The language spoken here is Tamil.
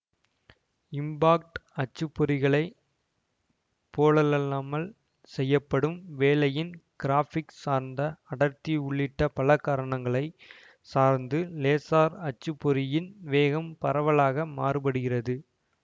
இம்பாக்ட் அச்சுப்பொறிகளைப் போலல்லாமல் செய்யப்படும் வேலையின் கிராஃபிக் சார்ந்த அடர்த்தி உள்ளிட்ட பல காரணங்களை சார்ந்து லேசார் அச்சுப்பொறியின் வேகம் பரவலாக மாறுபடுகிறது